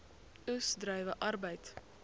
oes druiwe arbeid